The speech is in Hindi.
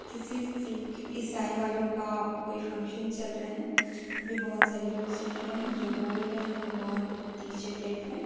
किसी सिख ईसाई वालों का कोई फंक्शन चल रहा है यहाँ पे बहुत सारे लोग सुन रहें हैं जो बोल रहें हैं वो बहुत टीचर टाइप हैं।